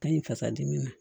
Ka ɲi fasa dimi ma